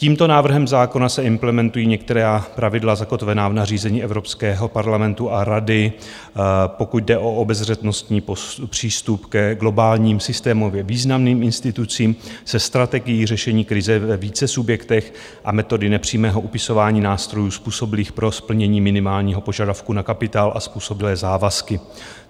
Tímto návrhem zákona se implementují některá pravidla zakotvená v nařízení Evropského parlamentu a Rady, pokud jde o obezřetnostní přístup ke globálním, systémově významným institucím se strategií řešení krize ve více subjektech a metody nepřímého upisování nástrojů způsobilých pro splnění minimálního požadavku na kapitál a způsobilé závazky.